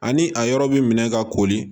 Ani a yɔrɔ bi minɛ ka kori